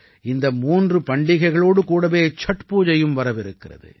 இந்த மூன்று பண்டிகைகளோடு கூடவே சட் பூஜையும் வரவிருக்கிறது